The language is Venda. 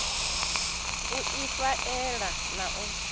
u ifha ela na u